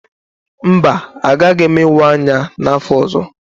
Mba, agaghị m ịwa anya n'afọ ọzọ.